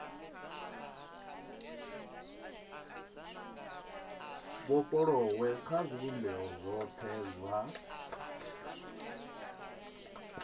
vhofholowe kha zwivhumbeo zwothe zwa